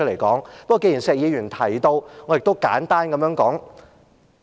不過，既然石議員提到，我亦想簡單講解一下。